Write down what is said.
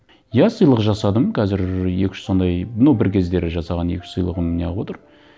иә сыйлық жасадым қазір екі үш сондай ну бір кездері жасаған екі үш сыйлығым не қылып отыр